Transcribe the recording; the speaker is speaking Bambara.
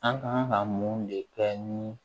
An kan ka mun de kɛ ni